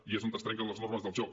i és on es trenquen les normes del joc